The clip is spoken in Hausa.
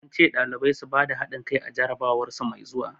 An ce ɗalibai su bada hadin kai a jarabawar su mai zuwa.